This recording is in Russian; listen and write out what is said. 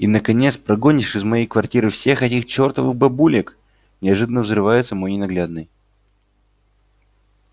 и наконец прогонишь из моей квартиры всех этих чертовых бабулек неожиданно взрывается мой ненаглядный